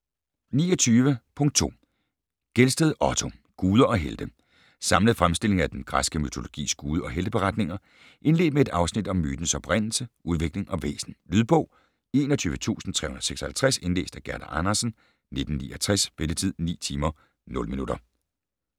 29.2 Gelsted, Otto: Guder og helte Samlet fremstilling af den græske mytologis gude- og helteberetninger, indledt med et afsnit om mytens oprindelse, udvikling og væsen. Lydbog 21356 Indlæst af Gerda Andersen, 1969. Spilletid: 9 timer, 0 minutter.